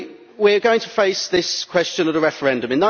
We are going to face this question at a referendum.